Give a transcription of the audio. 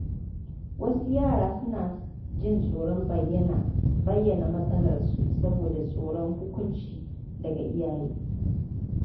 Wasu yara suna jin tsoron bayyana matsalarsu saboda tsoron hukunci daga iyaye.